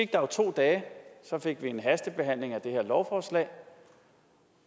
jo to dage og så fik vi en hastebehandling af det her lovforslag